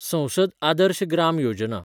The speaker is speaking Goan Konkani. संसद आदर्श ग्राम योजना